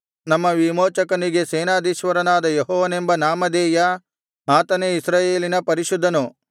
ನಮ್ಮ ವಿಮೋಚಕನಿಗೆ ಸೇನಾಧೀಶ್ವರನಾದ ಯೆಹೋವನೆಂಬ ನಾಮಧೇಯ ಆತನೇ ಇಸ್ರಾಯೇಲಿನ ಪರಿಶುದ್ಧನು